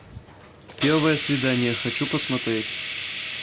первое свидание хочу посмотреть